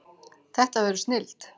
Þetta verður snilld